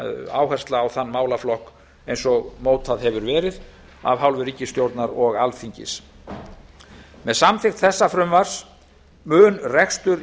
áhersla á þann málaflokk eins og mótað hefur verið af hálfu ríkisstjórnar og alþingis með samþykkt þessa frumvarpsins mun rekstur